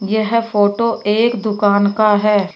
यह फोटो एक दुकान का है।